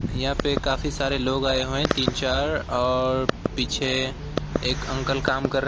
यहां पे काफी सारे लोग आए हुए हैं तीन चार और पीछे एक अंकल काम कर रहे।